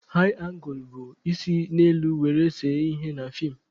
Haị angụl bụ isi n'elu were see ihe na feem.